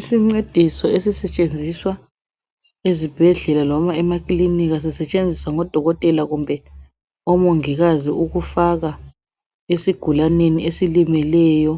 isincediso esisetshenziswa ezibhedlela noma emaklinika sisetshenziswa ngodokotela kumbe omongikazi ukufaka esigulaneni esilimeleyo